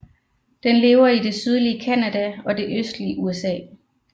Den lever i det sydlige Canada og det østlige USA